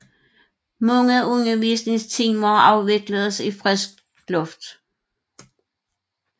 Mange undervisningstimer afvikledes i fri luft